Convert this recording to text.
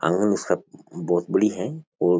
आंगन इसकी बहुत बड़ी है और --